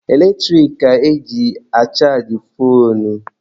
Eletrik ka eji achajị foonu.